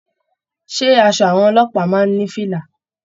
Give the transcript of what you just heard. Ṣé aṣọ àwọn ọlọ́pàá máa n ní fìlà?